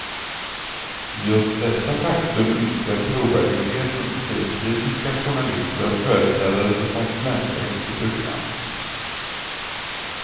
Just detta faktum minskar trovärdigheten, säger kritiska journalister och företrädare för konsumentverket i programmet.